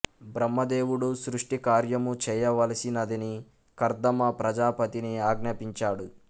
బ్రహ్మ దేవుడు సృష్టి కార్యము చేయవలసినదని కర్దమ ప్రజాపతిని ఆజ్ఞాపించాడు